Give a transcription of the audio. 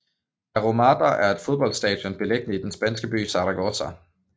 La Romareda er et fodboldstadion beliggende i den spanske by Zaragoza